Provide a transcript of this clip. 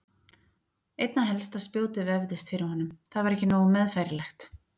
Einna helst að spjótið vefðist fyrir honum, það var ekki nógu meðfærilegt.